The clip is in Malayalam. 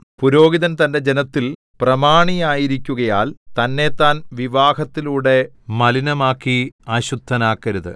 പുരോഹിതൻ തന്റെ ജനത്തിൽ പ്രമാണിയായിരിക്കുകയാൽ തന്നെത്താൻ വിവാഹത്തിലുടെ മലിനമാക്കി അശുദ്ധനാക്കരുത്